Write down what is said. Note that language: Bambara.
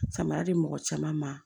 Samara di mɔgɔ caman ma